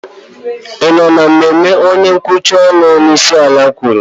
ị nọ na mmemme onye nkwuchite ọnụ onyeisiala kwuru?